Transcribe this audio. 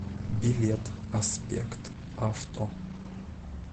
билет аспект авто